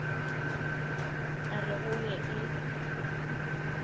a re go ye e